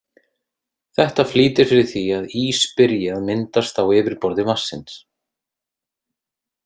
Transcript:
Þetta flýtir fyrir því að ís byrji að myndast á yfirborði vatnsins.